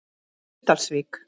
Breiðdalsvík